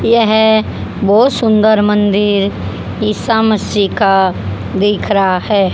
यह बहुत सुंदर मंदिर ईसा मसीह का दिख रहा है।